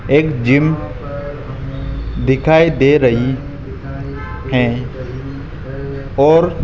एक जिम दिखाई दे रही है और--